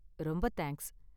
ரொம்ப தேங்க்ஸ்